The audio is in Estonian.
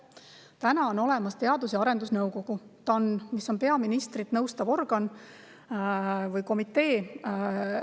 Täna on olemas Teadus- ja Arendusnõukogu, mis on peaministrit nõustav organ või komitee.